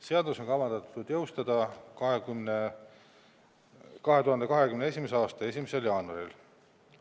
Seadus on kavandatud jõustuma 2021. aasta 1. jaanuaril.